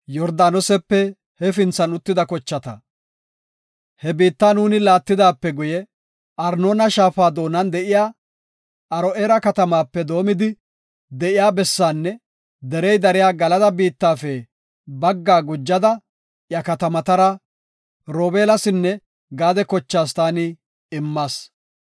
He biitta nuuni laatidaape guye, Arnoona shaafa doonan de7iya Aro7eera katamaape doomidi de7iya bessaanne derey dariya Galada biittafe baggaa gujada iya katamatara Robeelasinne Gaade kochaas taani immas.